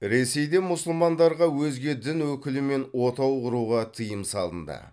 ресейде мұсылмандарға өзге дін өкілімен отау құруға тыйым салынды